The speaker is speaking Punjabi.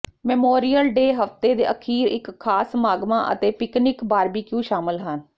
ਮੈਮੋਰੀਅਲ ਡੇ ਹਫਤੇ ਦੇ ਅਖ਼ੀਰ ਵਿਚ ਖ਼ਾਸ ਸਮਾਗਮਾਂ ਅਤੇ ਪਿਕਨਿਕ ਬਾਰਬਿਕਯੂ ਸ਼ਾਮਲ ਹਨ